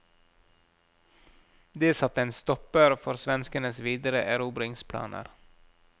Det satte en stopper for svenskenes videre erobringsplaner.